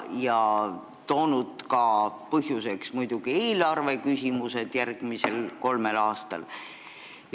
Muidugi on põhjusena toodud ka eelarveküsimused järgmisel kolmel aastal.